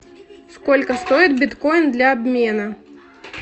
сколько стоит биткоин для обмена